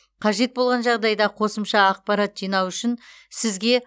қажет болған жағдайда қосымша ақпарат жинау үшін сізге